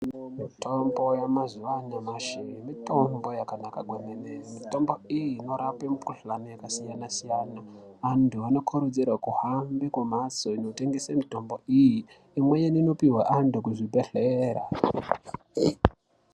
Mitombo yamazuva anyamashi mitombo yakanaka kwemene mitombo iyi inorape mikuhlani yakasiyana-siyana. Antu anokurudzirwe kuhambe kumhatso inotengese mitombo iyi, imweni inopuhwa antu kuzvibhedhlera.